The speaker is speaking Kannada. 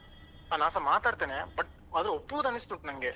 ಹ ನಾನ್ಸ ಮಾತಾಡ್ತೇನೆ but ಅದ್ ಪೂರಾ risk ಉಂಟ್ ನನ್ಗೆ.